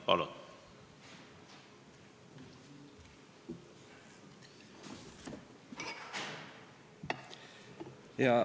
Palun!